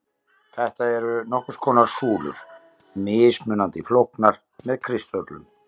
Þetta eru nokkurs konar súlur, mismunandi flóknar með kristöllum.